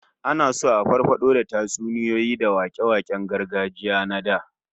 Ana so za'a farfado da tatsuniyoyi da wake-waken gargajiya na da